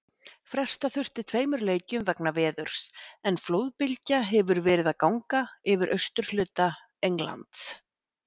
Fresta þurfti tveimur leikjum vegna veðurs en flóðbylgja hefur verið að ganga yfir suðurhluta Englands.